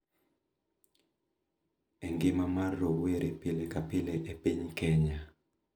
E ngima mar rowere pile ka pile e piny Kenya